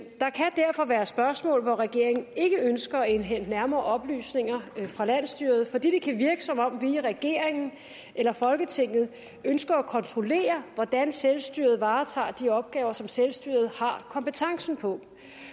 der kan derfor være spørgsmål hvor regeringen ikke ønsker at indhente nærmere oplysninger fra landsstyret fordi det kan virke som om vi i regeringen eller folketinget ønsker at kontrollere hvordan selvstyret varetager de opgaver som selvstyret har kompetencen på når